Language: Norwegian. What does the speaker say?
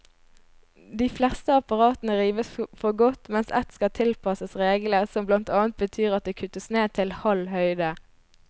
De fleste apparatene rives for godt, mens ett skal tilpasses reglene, som blant annet betyr at det kuttes ned til halv høyde.